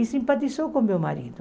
E simpatizou com meu marido.